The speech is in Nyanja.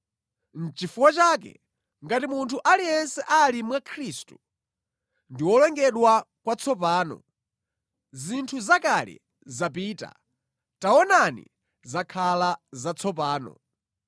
Nʼchifukwa chake, ngati munthu aliyense ali mwa Khristu, ndi wolengedwa kwatsopano; zinthu zakale zapita taonani, zakhala zatsopano.